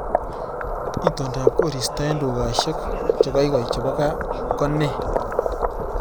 Itondop koristo eng dukaishek chegoigoi chebo gaa ko ne